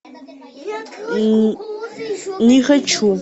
не хочу